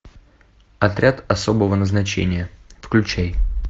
отряд особого назначения включай